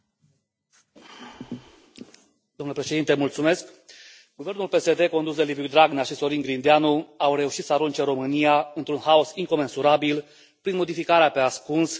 Domnule președinte, guvernul PSD condus de Liviu Dragnea și Sorin Grindeanu a reușit să arunce România într un haos incomensurabil prin modificarea pe ascuns a Codului penal și de procedură penală.